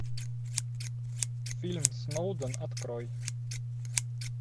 фильм сноуден открой